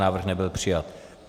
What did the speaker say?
Návrh nebyl přijat.